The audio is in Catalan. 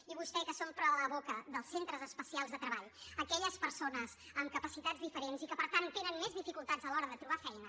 i vostè que s’omple la boca dels centres especials de treball aquelles persones amb capacitats diferents i que per tant tenen més dificultats a l’hora de trobar feina